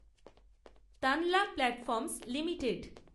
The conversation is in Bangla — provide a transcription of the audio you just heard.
Tanla platforms limited